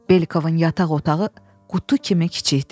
Belikovun yataq otağı qutu kimi kiçik idi.